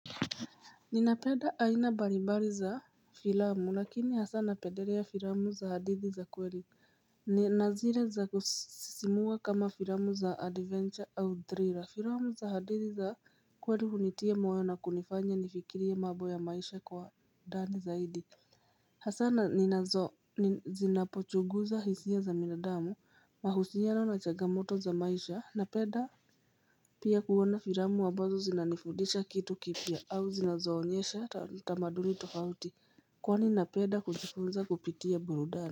Nina pebda aina balibali za filamu lakini hasana pendelea za filamu za hadithi za kweli ni na zile za kusisimua kama filamu za adventure au thriller Filamu za hadithi za kweli hunitia moyo na kunifanya nifikirie mambo ya maisha kwa ndani zaidi Hasana ni nazo ni zinapochuguza hisia za binadamu mahusia na chagamoto za maisha napenda pia kuona filamu ambazo zinanifudisha kitu kipia au zinazo onyesha tamaduni tofauti kwani na peda kujifunza kupitia burudani.